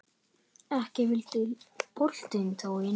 Ekki vildi boltinn þó inn.